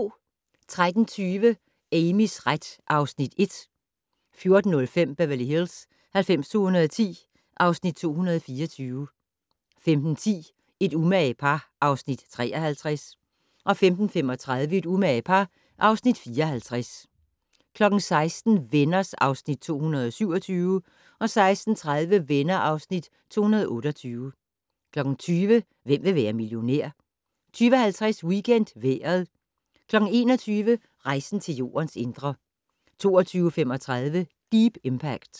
13:20: Amys ret (Afs. 1) 14:05: Beverly Hills 90210 (Afs. 224) 15:10: Et umage par (Afs. 53) 15:35: Et umage par (Afs. 54) 16:00: Venner (Afs. 227) 16:30: Venner (Afs. 228) 20:00: Hvem vil være millionær? 20:50: WeekendVejret 21:00: Rejsen til Jordens indre 22:35: Deep Impact